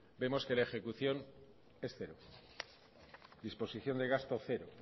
vemos que la ejecución es cero disposición de gasto cero